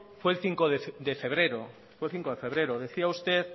fue el cinco de febrero decía usted